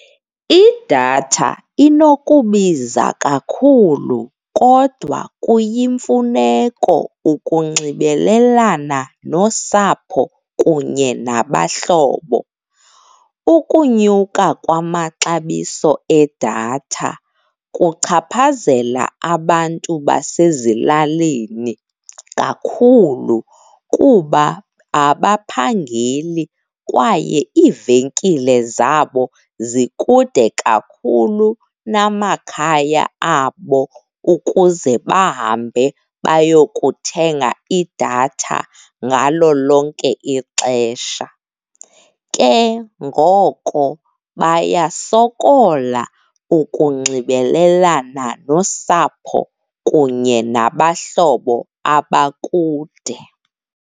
Idatha inokubiza kakhulu kodwa kuyimfuneko ukunxibelelana nosapho kunye nabahlobo. Ukunyuka kwamaxabiso edatha kuchaphazela abantu basezilalini kakhulu kuba abaphangeli kwaye iivenkile zabo zikude kakhulu namakhaya abo ukuze bahambe bayokuthenga idatha ngalo lonke ixesha. Ke ngoko bayasokola ukunxibelelana nosapho kunye nabahlobo abakude.